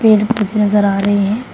पेड़ कुछ नजर आ रहे हैं।